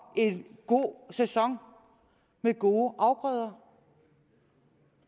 en god sæson med gode afgrøder